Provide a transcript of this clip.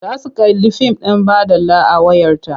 Za su kalli fim ɗin baɗala a wayarta.